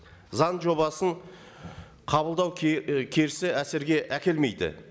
заң жобасын қабылдау әсерге әкелмейді